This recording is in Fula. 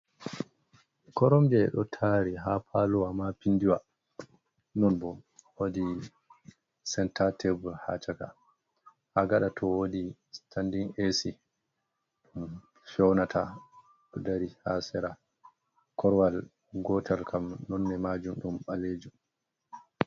Koromje ɗo tari ha palowa ma pindiwa, non bo wodi senta tabur ha caka, ha gaɗa to wodi standin esy ɗum fewnata ɗo dari ha sera korwal gotal gam nonne majum ɗum ɓalejum.